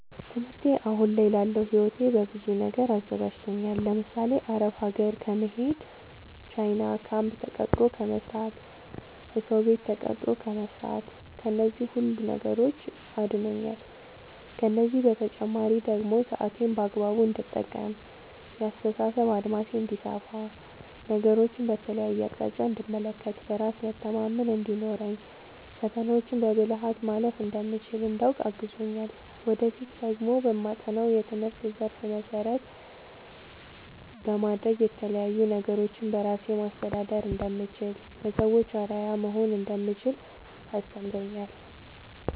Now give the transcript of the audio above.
ትምህርቴ አሁን ላለው ህይወቴ በብዙ ነገር አዘጋጅቶኛል። ለምሳሌ፦ አረብ ሀገር ከመሄድ፣ ቻይና ካምፕ ተቀጥሮ ከመስራት፣ እሰው ቤት ተቀጥሮ ከመስራት ከነዚህ ሁሉ ነገሮች አድኖኛል። ከእነዚህ በተጨማሪ ደግሞ ሰአቴን በአግባቡ እንድጠቀም፣ የአስተሳሰብ አድማሴ እንዲሰፋ፣ ነገሮችን በተለያየ አቅጣጫ እንድመለከት፣ በራስ መተማመን እንዲኖረኝ፣ ፈተናዎችን በብልሀት ማለፍ እንደምችል እንዳውቅ አግዞኛል። ወደፊት ደግሞ በማጠናው የትምህርት ዘርፍ መሰረት በማድረግ የተለያዪ ነገሮችን በራሴ ማስተዳደር እንደምችል፣ ለሰዎች አርአያ መሆን እንደምችል አስተምሮኛል።